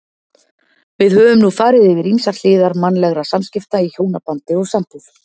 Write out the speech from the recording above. Við höfum nú farið yfir ýmsar hliðar mannlegra samskipta í hjónabandi og sambúð.